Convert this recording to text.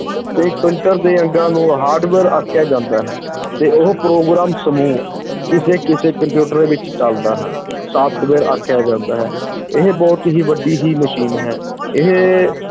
ਦੇ ਅੰਗਾਂ ਨੂੰ hardware ਆਖਿਆ ਜਾਂਦਾ ਹੈ ਤੇ ਉਹ ਪ੍ਰੋਗਰਾਮ ਸਮੂਹ, ਕਿਸੇ ਕਿਸੇ ਕੰਪਿਊਟਰ ਵਿੱਚ ਚਲਦਾ ਹੈ software ਆਖਿਆ ਜਾਂਦਾ ਹੈ, ਇਹ ਬਹੁਤ ਹੀ ਵੱਡੀ ਹੀ ਮਸ਼ੀਨ ਹੈ, ਇਹ